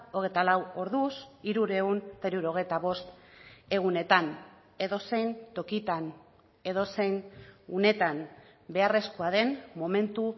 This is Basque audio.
hogeita lau orduz hirurehun eta hirurogeita bost egunetan edozein tokitan edozein unetan beharrezkoa den momentu